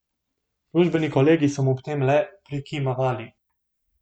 Službeni kolegi so mu ob tem le prikimavali.